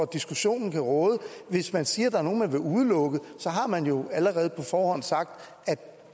diskussionen råde hvis man siger at der er nogle man vil udelukke så har man jo allerede på forhånd sagt at det